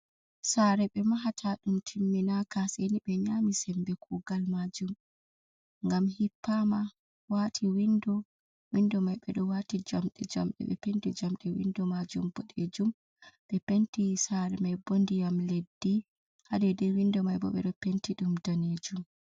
Sare ɓe mahata dum timminaka ,seni be nyami sembe kugal majum, gam hippama wati windo, windo mai be do wati jamde jamde, ɓe penti jamde windo majum bodejum, be penti sare mai boh diyam leddi, hadede windo mai bo be do penti dum danejum.